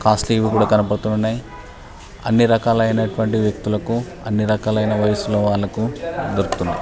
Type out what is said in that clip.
Costly వి కూడా కనబడుతునై అన్నీ రకాల అయినటువంటి వ్యక్తులకు అన్నీ రకాల వయసుల వాళ్ళకు దొరుకుతునై .